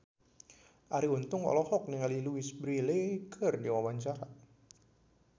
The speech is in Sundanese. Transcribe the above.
Arie Untung olohok ningali Louise Brealey keur diwawancara